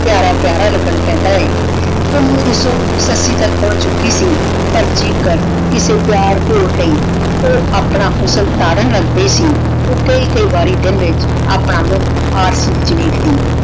ਪਯਾਰਾ ਪਯਾਰਾ ਲਗਨ ਪੈਂਦਾ ਆਯ ਸੱਸੀ ਤਕ ਪੋਹੰਚ ਚੁਕੀ ਸੀ ਪਰ ਜੀ ਕਰ ਕਿਸੇ ਪਯਾਰ ਕੋਲ ਲੈ ਊ ਆਪਣਾ ਹੁਸਨ ਤਾਰਨ ਲਗਦੀ ਸੀ ਊ ਕਈ ਕਈ ਵਾਰੀ ਦਿਨ ਵਿਚ ਆਪਣਾ ਮੁਹ ਆਰਸੀ ਵਿਚ ਵੇਖਦੀ